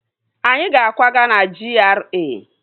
Anyị ga-akwaga na GRA